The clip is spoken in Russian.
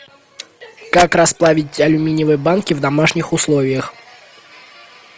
как расплавить алюминиевые банки в домашних условиях